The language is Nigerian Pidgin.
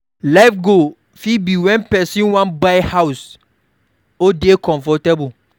life goal fit be when person wan buy house or dey comfortable